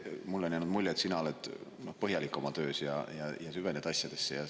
Mulle on jäänud mulje, et sina oled põhjalik oma töös ja süvened asjadesse.